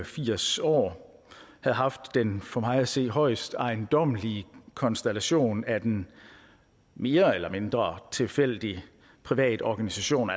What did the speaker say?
firs år havde haft den for mig at se højst ejendommelige konstellation at en mere eller mindre tilfældig privat organisation